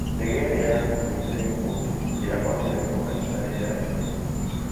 ndege ĩrĩa yaakuĩte Gikundi ndĩahotire kũhaica rĩera-inĩ